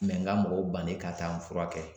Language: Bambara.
n ka mɔgɔw bannen ka taa n furakɛ.